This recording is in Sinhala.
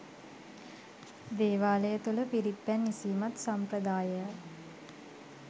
දේවාලය තුළ පිරිත් පැන් ඉසීමත් සම්ප්‍රදායය යි.